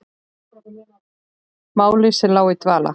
Máli sem lá í dvala!